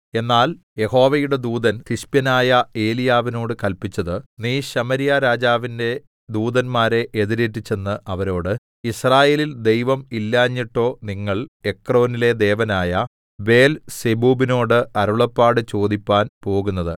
എന്നാൽ യഹോവയുടെ ദൂതൻ തിശ്ബ്യനായ ഏലീയാവിനോട് കല്പിച്ചത് നീ ശമര്യാരാജാവിന്റെ ദൂതന്മാരെ എതിരേറ്റുചെന്ന് അവരോട് യിസ്രായേലിൽ ദൈവം ഇല്ലാഞ്ഞിട്ടോ നിങ്ങൾ എക്രോനിലെ ദേവനായ ബേൽസെബൂബിനോട് അരുളപ്പാട് ചോദിപ്പാൻ പോകുന്നത്